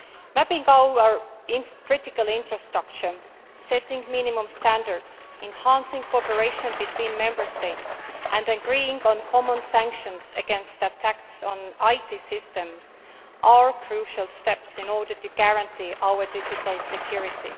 Mapping our critical infrastructure, setting minimum standards, enhancing cooperation between Member States and agreeing on common sanctions against attacks on IT systems are crucial steps in order to guarantee our digital security.